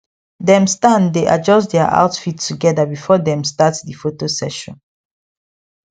dem stand dae adjust dia outfit together before them start the photo session